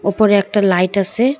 ওপরে একটা লাইট আছে।